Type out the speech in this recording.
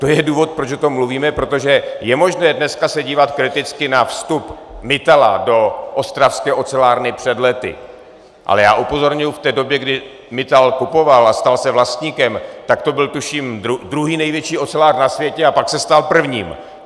To je důvod, proč o tom mluvíme, protože je možné dneska se dívat kriticky na vstup Mittala do ostravské ocelárny před lety, ale já upozorňuji, že v době, kdy Mittal kupoval a stal se vlastníkem, tak to byl tuším druhý největší ocelář na světě, a pak se stal prvním.